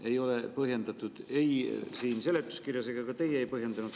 Ei ole põhjendatud seletuskirjas ja ka teie ei ole põhjendanud.